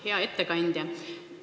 Hea ettekandja!